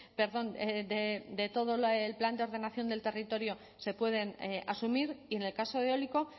perdón de todo el plan de ordenación del territorio se pueden asumir y en el caso de eólico